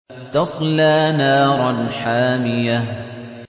تَصْلَىٰ نَارًا حَامِيَةً